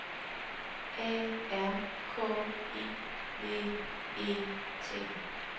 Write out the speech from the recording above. A R K I V E T